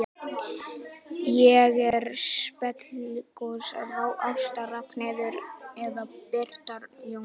Hver er meiri sprelligosi, Ásta Ragnheiður eða Birgitta Jóns?